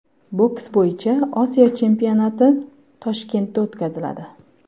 Boks bo‘yicha Osiyo chempionati Toshkentda o‘tkaziladi.